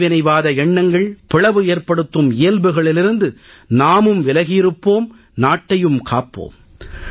பிரிவினைவாத எண்ணங்கள் பிளவு ஏற்படுத்தும் இயல்புகளிலிருந்து நாமும் விலகியிருப்போம் நாட்டையும் காப்போம்